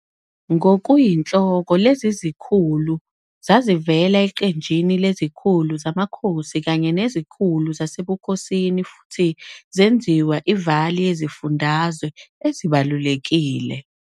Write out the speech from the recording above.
Ngokuyinhloko lezi zikhulu zazivela eqenjini lezikhulu zamakhosi kanye nezikhulu zasebukhosini futhi zenziwa iVāli yezifundazwe ezibalulekile.